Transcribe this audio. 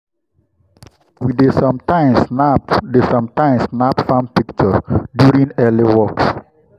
we dey sometimes snap dey sometimes snap farm pictures during these early walks.